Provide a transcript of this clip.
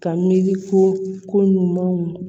Ka miiri ko ɲumanw